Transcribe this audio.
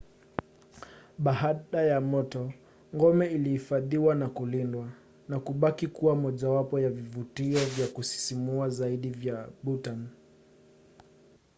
baada ya moto ngome ilihifadhiwa na kulindwa na kubaki kuwa mojawapo ya vivutio vya kusisimua zaidi vya bhutan